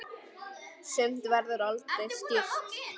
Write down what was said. Sumt verður aldrei skýrt.